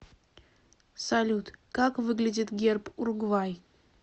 салют как выглядит герб уругвай